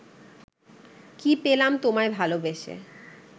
কি পেলাম তোমায় ভালোবেসে ?